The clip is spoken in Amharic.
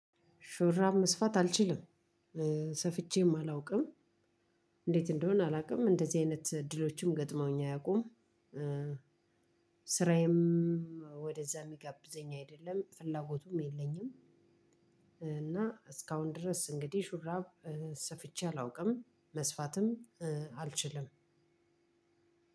ሹራብ መስፋት አልችልም ሰፍቼም አላውቅም እንዴት እንደሆነ አላውቅም እንደዚህ አይነት እድሎችም ገጥመውኝ አያውቁም። ስራዬም ወደዛ የሚጋብዘኝ አይደለም ፍላጎቱም የለኝም። እና እስካሁን ድረስ እንግዲህ ሹራብ ሰፍቼ አላውቅም። መስፋትም አልችልም።